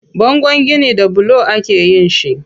Bangon gini da bulo akeyin shi.